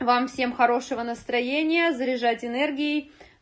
вам всем хорошего настроения заряжать энергией